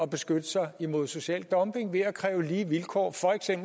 beskytte sig imod social dumping ved at kræve lige vilkår